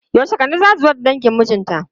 Yaushe Kande zata zo da dangin mijinta?